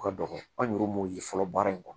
Ka dɔgɔn an yɛruw m'o ye fɔlɔ baara in kɔnɔ